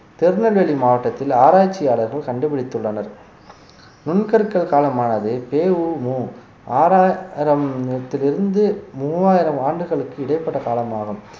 திருநெல்வேலி மாவட்டத்தில் ஆராய்ச்சியாளர்கள் கண்டுபிடித்துள்ளனர் நுண்கற்கள் காலமானது பெ உ மு ஆறாயிரம் ~த்திலிருந்து மூவாயிரம் ஆண்டுகளுக்கு இடைப்பட்ட காலமாகும்